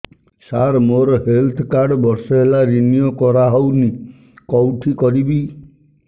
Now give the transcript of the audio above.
ସାର ମୋର health card ବର୍ଷେ ହେଲା ରିନିଓ କରା ହଉନି କଉଠି କରିବି